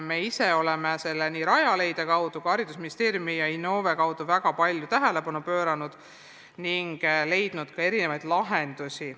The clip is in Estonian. Me ise oleme sellele nii Rajaleidja, Haridus- ja Teadusministeeriumi kui ka Innove kaudu väga palju tähelepanu pööranud ning leidnud mitmesuguseid lahendusi.